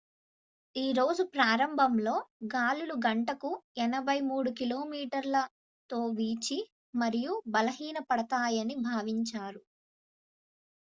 ఈ రోజు ప్రారంభంలో గాలులు గంటకు 83కి.మీ/గం. తో వీచి మరియు బలహీనపడతాయని భావించారు